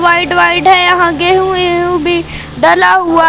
White white है। यहां गेहूं एहू भी डला हुआ--